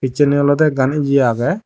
pejandi oloda akkan eya agey.